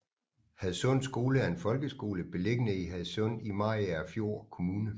Hadsund Skole er en folkeskole beliggende i Hadsund i Mariagerfjord Kommune